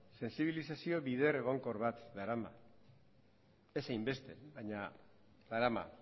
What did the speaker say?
sentsibilizazio bide egonkor bat darama ez hainbeste baina darama